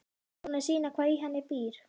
Tilbúin að sýna hvað í henni býr.